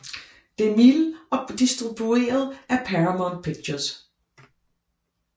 DeMille og distribueret af Paramount Pictures